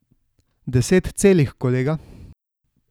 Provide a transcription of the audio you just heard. Deset celih, kolega.